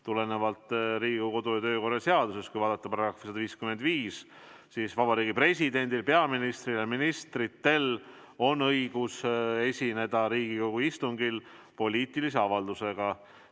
Tulenevalt Riigikogu kodu- ja töökorra seadusest, kui vaadata selle § 155, on Vabariigi Presidendil, peaministril ja ministritel õigus esineda Riigikogu istungil poliitilise avaldusega.